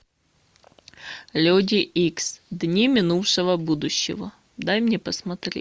люди икс дни минувшего будущего дай мне посмотреть